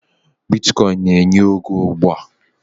Bitkọịn na-enye ego ugbua